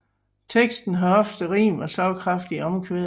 Teksten har ofte rim og slagkraftige omkvæd